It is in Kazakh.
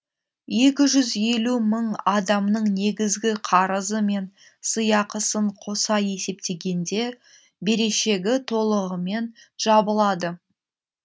екі жүз елу мың адамның негізгі қарызы мен сыйақысын қоса есептегенде берешегі толығымен жабылады